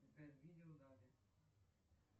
сбер видео дали